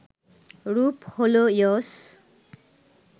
রূপ হল ইয়স